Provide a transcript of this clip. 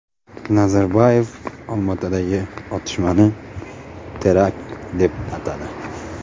Nazarboyev Olmaotadagi otishmani terakt deb atadi.